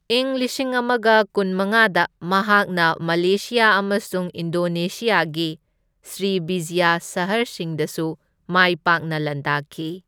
ꯢꯪ ꯂꯤꯁꯤꯡ ꯑꯃꯒ ꯀꯨꯟꯃꯉꯥꯗ ꯃꯍꯥꯛꯅ ꯃꯂꯦꯁꯤꯌꯥ ꯑꯃꯁꯨꯡ ꯏꯟꯗꯣꯅꯦꯁꯤꯌꯥꯒꯤ ꯁ꯭ꯔꯤꯕꯤꯖꯌꯥ ꯁꯍꯔꯁꯤꯡꯗꯁꯨ ꯃꯥꯏ ꯄꯥꯛꯅ ꯂꯥꯟꯗꯥꯈꯤ꯫